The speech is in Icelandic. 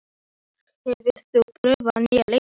Hjörtþór, hefur þú prófað nýja leikinn?